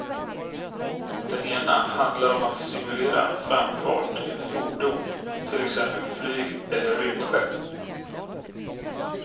Den ena handlar om att simulera framfart i ett fordon till exempel flyg eller rymdskepp.